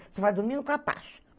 Você vai dormir no capacho.